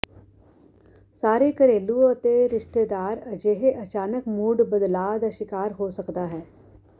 ਸਾਰੇ ਘਰੇਲੂ ਅਤੇ ਰਿਸ਼ਤੇਦਾਰ ਅਜਿਹੇ ਅਚਾਨਕ ਮੂਡ ਬਦਲਾਅ ਦਾ ਸ਼ਿਕਾਰ ਹੋ ਸਕਦਾ ਹੈ